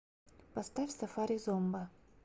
поставь сафари зомба